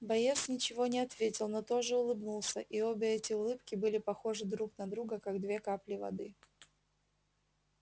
боец ничего не ответил но тоже улыбнулся и обе эти улыбки были похожи друг на друга как две капли воды